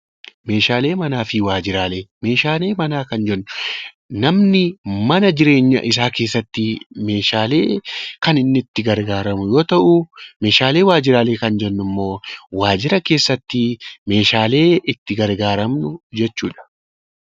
Meeshaalee manaa fi waajjiraalee, meeshaalee manaa Kan jennu namni mana jireenya isaa keessatti meeshaalee Kan inni itti gargaaramu yoo tahu, meeshaalee waajjiraalee Kan jennu immoo waajjira keessatti meeshaalee itti gargaaramnu jechuudha.